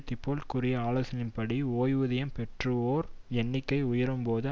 திபோல்ட் கூறிய ஆலோசனை படி ஓய்வூதியம் பெறுவோர் எண்ணிக்கை உயரும்போது